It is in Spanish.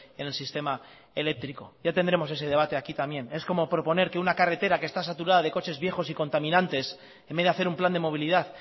en el sistema eléctrico ya tendremos ese debate aquí también es como proponer que una carretera que está saturada de coches viejos y contaminantes en vez de hacer un plan de movilidad